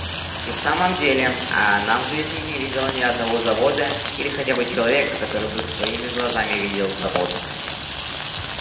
и в самом деле она в жизни не видела ни одного завода или хотя бы человека который бы своими глазами видел завод